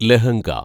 lehenga